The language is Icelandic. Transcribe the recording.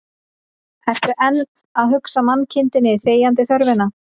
Ertu enn að hugsa mannkindinni þegjandi þörfina